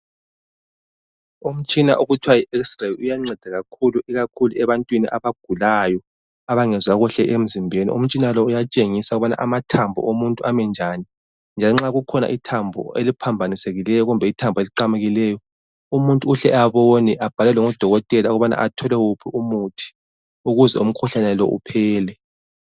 Umtshina okuthiwa yiXray uyanceda kakhulu ebantwini abagulayo, abangezwa kuhle emzimbeni. Umtshina lo uyatshengisa ukubana amathambo omuntu ami njani, lanxa kukhona ithambo eliphambanisekileyo kumbe eliqamukileyo umuntu uhle abone abhalelwe ngudokotela ukubana athole umuthi ukuze umkhuhlane lo uphele.